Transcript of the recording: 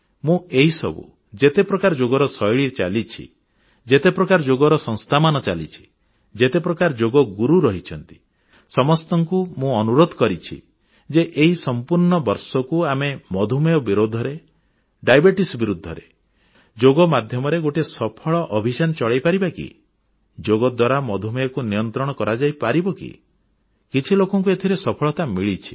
ମୁଁ ଏହିସବୁ ଯେତେ ପ୍ରକାର ଯୋଗର ଶୈଳୀ ଚାଲିଛି ଯେତେ ପ୍ରକାର ଯୋଗର ସଂସ୍ଥାମାନ ଚାଲିଛି ଯେତେ ପ୍ରକାର ଯୋଗ ଗୁରୁ ରହିଛନ୍ତି ସମସ୍ତଙ୍କୁ ମୁଁ ଅନୁରୋଧ କରିଛି ଯେ ଏହି ସମ୍ପୂର୍ଣ୍ଣ ବର୍ଷକୁ ଆମେ ମଧୁମେହ ବିରୁଦ୍ଧରେ ଡାଇବିଟିଜ୍ ବିରୁଦ୍ଧରେ ଯୋଗ ମାଧ୍ୟମରେ ଗୋଟିଏ ସଫଳ ଅଭିଯାନ ଚଳାଇପାରିବା କି ଯୋଗ ଦ୍ୱାରା ମଧୁମେହକୁ ନିୟନ୍ତ୍ରଣ କରାଯାଇପାରିବ କି କିଛି ଲୋକଙ୍କୁ ଏଥିରେ ସଫଳତା ମିଳିଛି